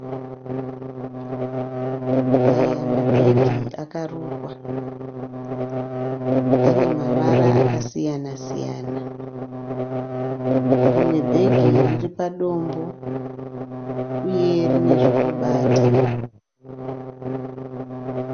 Aya maghegi akarukwa. Ane mavara akasiyana siyana. Rimwe bhegi riri padombo uye rine zvokubata.